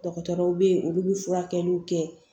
Dɔgɔtɔrɔw bɛ yen olu bɛ furakɛliw kɛ